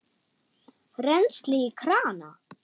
Rennsli í krana!